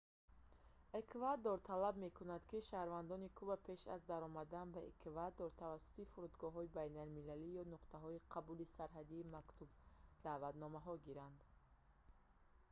эквадор талаб мекунад ки шаҳрвандони куба пеш аз даромадан ба эквадор тавассути фурудгоҳҳои байналмилалӣ ё нуқтаҳои қабули сарҳадӣ мактуб-даъватнома гиранд